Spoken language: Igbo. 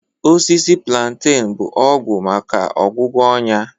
Osisi plantain bụ ọgwụ maka ọgwụgwọ ọnya